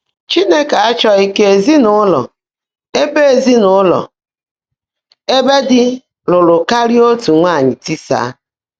Chínekè áchọ́ghị́ kà ézinụ́lọ́ ébè ézinụ́lọ́ ébè dí lụ́ụ́rụ́ kárị́á ótú nwáanyị́ tísaá.